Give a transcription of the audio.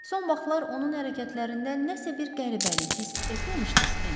Son vaxtlar onun hərəkətlərində nəsə bir qəribəlik hiss etməmişdiz, Mss?